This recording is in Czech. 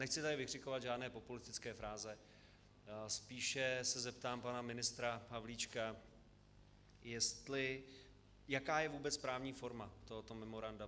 Nechci tady vykřikovat žádné populistické fráze, spíše se zeptám pana ministra Havlíčka, jaká je vůbec právní forma tohoto memoranda.